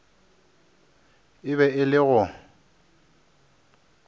e be e le go